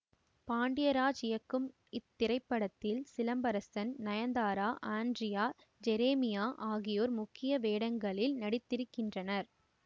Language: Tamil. பாண்டிராஜ் இயக்கும் இத்திரைப்படத்தில் சிலம்பரசன் நயன்தாரா ஆண்ட்ரியா ஜெரெமையா ஆகியோர் முக்கிய வேடங்களில் நடித்திருக்கின்றனர்